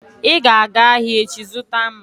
Ị ga-aga ahịa echi zụta mma!